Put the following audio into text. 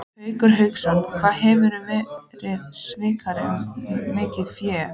Haukur Hauksson: Hvað hefurðu verið svikinn um mikið fé?